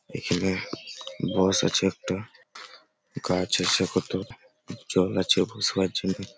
এখানে বস আছে একটা গাছ আছে কত জল আছে বসবার জন্য।